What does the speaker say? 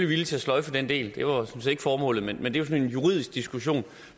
villige til at sløjfe den del det var sådan set ikke formålet men det er jo juridisk diskussion